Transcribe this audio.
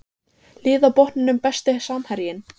Lið á botninum Besti samherjinn?